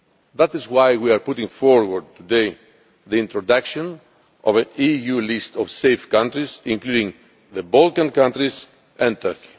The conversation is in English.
That is why we are putting forward today the introduction of an EU list of safe countries, including the Balkan countries and Turkey.